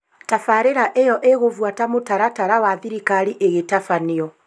Tabarĩra ĩyo ĩgũbuata mũtaratara wa thirikari ĩgĩtabanio